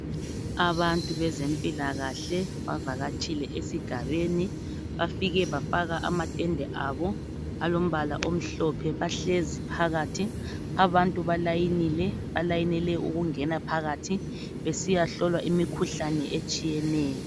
Abantu bezempilakahle bavakatshile esigabeni. Bafike bafaka amatende abo alombala omhlophe, bahlezi phakathi. Abantu balayinile, balayinele ukungena phakathi besiyahlolwa imikhuhlane etshiyeneyo.